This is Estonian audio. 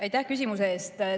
Aitäh küsimuse eest!